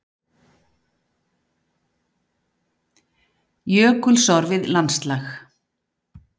Jökulsorfið landslag.